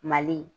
Mali